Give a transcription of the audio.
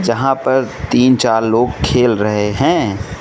यहां पर तीन चार लोग खेल रहे हैं।